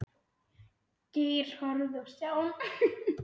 Geir horfði á Stjána.